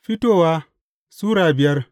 Fitowa Sura biyar